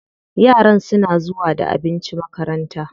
Yaran suna zuwa da abinci makaranta.